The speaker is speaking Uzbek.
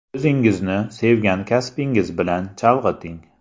O‘zingizni sevgan kasbingiz bilan chalg‘iting!